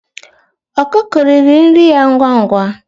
Ọkụkụ riri nri ya ngwa ngwa.